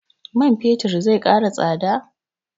Man fetir zai ƙara tsada?